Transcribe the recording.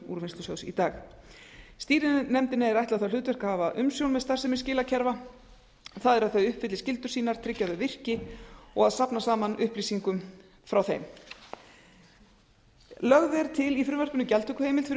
úrvinnslusjóðs í dag stýrinefndinni er ætlað það hlutverk að hafa umsjón með starfsemi skilakerfa það er að þau uppfylli skyldur sínar tryggi að þau virki og að safna saman upplýsingum frá þeim lögð er til í frumvarpinu gjaldtökuheimild fyrir